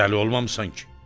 Dəli olmamısan ki?